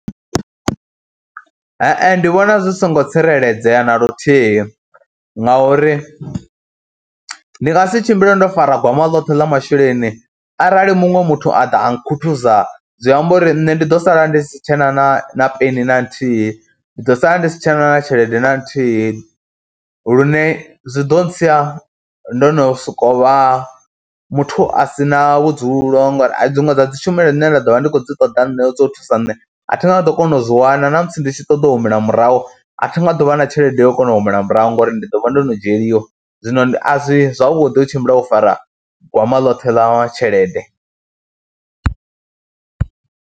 Hae ndi vhona zwi songo tsireledzea na luthihi ngauri ndi nga si tshimbile ndo fara gwama ḽoṱhe ḽa masheleni arali muṅwe muthu a ḓa a nkhuthuza zwi amba uri nṋe ndi ḓo sala ndi si tshe na na peni na nthihi. Ndi ḓo sala ndi si tshena na tshelede na nthihi lune zwi ḓo ntsia ndo no sokou vha muthu a si na vhudzulo ngori dziṅwe dza dzi tshumelo dzine nda ḓo vha ndi khou dzi ṱoḓa nṋe dza u thusa nne a thi nga ḓo kona u zwi wana na musi ndi tshi ṱoḓa u humela murahu a thi nga ḓo vha na tshelede yo kona u humela murahu ngauri ndi ḓo vha ndo no dzhieliwa. Zwino a zwi zwavhuḓi u tshimbila o fara gwama ḽoṱhe ḽa tshelede.